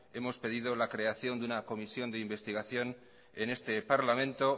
hemos pedido la creación de una comisión de investigación en este parlamento